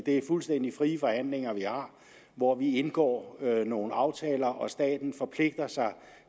er fuldstændig frie forhandlinger vi har hvor vi indgår nogle aftaler og staten forpligter sig